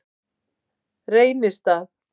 Reynistað